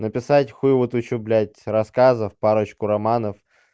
написать хуево-тучу блядь рассказов парочку романов